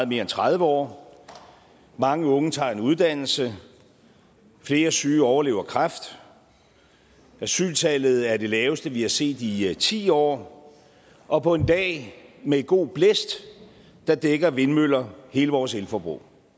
mere end tredive år mange unge tager en uddannelse flere syge overlever kræft asyltallet er det laveste vi har set i ti år og på en dag med god blæst dækker vindmøller hele vores elforbrug